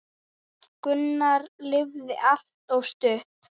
Gunnar lifði allt of stutt.